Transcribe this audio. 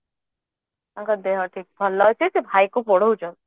ତାଙ୍କ ଦେହ ଠିକ ଭଲ ଅଛି ସେ ଭାଇକୁ ପଢଉଛନ୍ତି